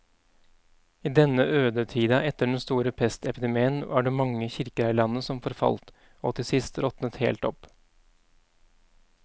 I denne ødetida etter den store pestepidemien var det mange kirker her i landet som forfalt og til sist råtnet helt opp.